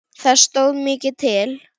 Það stóð mikið til.